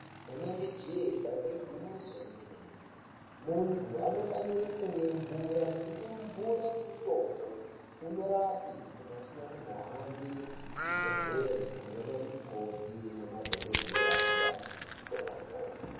Rinenge jee dambe igwinyiso remene mene muntu anofanira kumwa mvura ngekuti mvura mutombo unorapa muntu asikazi kuhambe kuchibhedhlera koona ana mukoti namadhokodheya kopiwa mitombo.